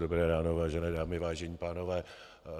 Dobré ráno, vážené dámy, vážení pánové.